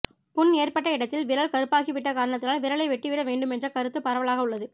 புண் ஏற்ப்பட்ட இடத்தில் விரல் கருப்பாகிவிட்ட காரணத்தினால் விரலை வெட்டிவிட வேண்டுமென்ற கருத்து பரவலாக உள்ளது